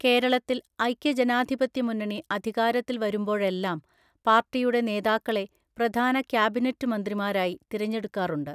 കേരളത്തിൽ ഐക്യ ജനാധിപത്യമുന്നണി അധികാരത്തിൽ വരുമ്പോഴെല്ലാം പാർട്ടിയുടെ നേതാക്കളെ പ്രധാന കാബിനറ്റ് മന്ത്രിമാരായി തിരഞ്ഞെടുക്കാറുണ്ട്.